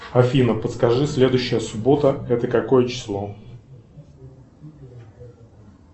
афина подскажи следующая суббота это какое число